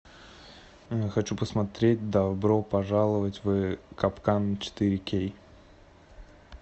хочу посмотреть добро пожаловать в капкан четыре кей